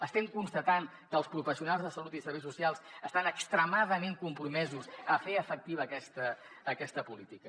estem constatant que els professionals de salut i serveis socials estan extremadament compromesos a fer efectiva aquesta política